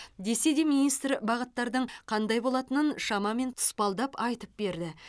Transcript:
десе де министр бағыттардың қандай болатынын шамамен тұспалдап айтып берді